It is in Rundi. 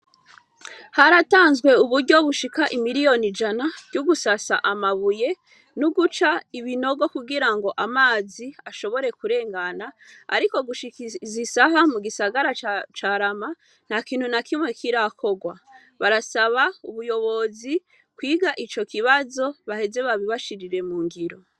Haratanzwe uburyo bushika imiliyoni jana ry'ugusasa amabuye n'uguca ibinogo kugira ngo amazi ashobore kurengana, ariko gushikaiiza isaha mu gisagara carama nta kintu na kimwe kirakorwa barasaba ubuyobozi kwiga ico kibazo baheze babibashirire mu ngiro.